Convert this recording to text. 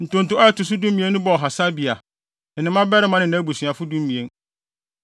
Ntonto a ɛto so dumien no bɔɔ Hasabia, ne ne mmabarima ne nʼabusuafo (12)